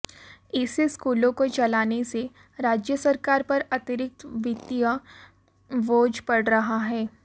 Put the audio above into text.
ऐसे स्कूलों को चलाने से राज्य सरकार पर अतिरिक्त वित्तीय बोझ पड़ रहा है